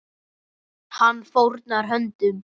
Hann fórnar höndum.